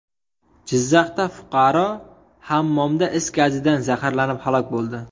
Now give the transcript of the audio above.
Jizzaxda fuqaro hammomda is gazidan zaharlanib, halok bo‘ldi.